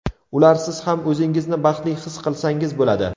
Ularsiz ham o‘zingizni baxtli his qilsangiz bo‘ladi.